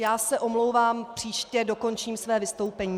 Já se omlouvám, příště dokončím své vystoupení.